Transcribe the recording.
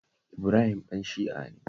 Ibrahim ɗan Shi'a ne